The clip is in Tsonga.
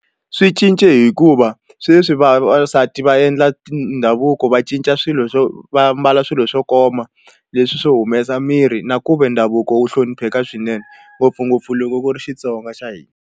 Swi cince hikuva sweswi vavasati va endla tindhavuko va cinca swilo swo va mbala swilo swo koma leswi swo humesa miri na ku ve ndhavuko wo hlonipheka swinene ngopfungopfu loko ku ri Xitsonga xa hina.